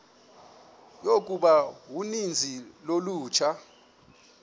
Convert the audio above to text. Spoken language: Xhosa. yokuba uninzi lolutsha